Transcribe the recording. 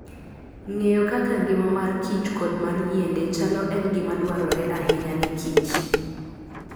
Ng'eyo kaka ngima mar kich kod mar yiende chalo en gima dwarore ahinya ne kich.